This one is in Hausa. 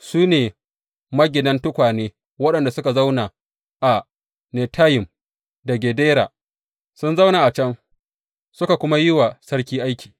Su ne maginan tukwane waɗanda suka zauna a Netayim da Gedera; sun zauna a can suka kuma yi wa sarki aiki.